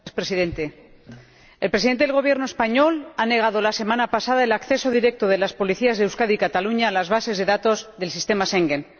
Señor Presidente, el Presidente del Gobierno español ha negado, la semana pasada, el acceso directo de las policías de Euskadi y Cataluña a las bases de datos del sistema Schengen.